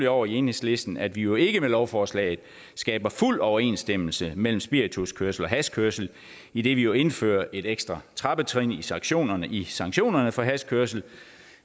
over i enhedslisten at vi jo ikke med lovforslaget skaber fuld overensstemmelse mellem spirituskørsel og hashkørsel idet vi jo indfører et ekstra trappetrin i sanktionerne i sanktionerne for hashkørsel